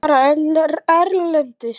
Fara erlendis?